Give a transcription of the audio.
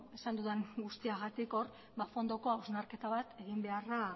esan dudan guztiagatik hor fondoko hausnarketa bat eginbeharra